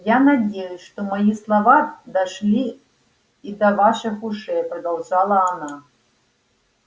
я надеюсь что мои слова дошли и до ваших ушей продолжала она